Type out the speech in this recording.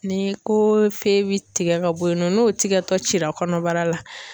Ni ko feye bɛ tigɛ ka bɔ yen nɔ n'o tigɛ tɔ cira kɔnɔbara la.